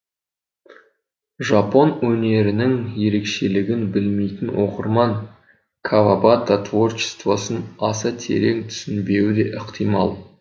жапон өнерінің ерекшелігін білмейтін оқырман кавабата творчествосын аса терең түсінбеуі де ықтимал